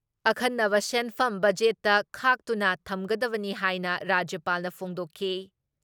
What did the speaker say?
ꯑꯈꯟꯅꯕ ꯁꯦꯟꯐꯝ ꯕꯖꯦꯠꯇ ꯈꯥꯛꯇꯨꯅ ꯊꯝꯒꯗꯕꯅꯤ ꯍꯥꯏꯅ ꯔꯥꯖ꯭ꯌꯄꯥꯜꯅ ꯐꯣꯡꯗꯣꯛꯈꯤ ꯫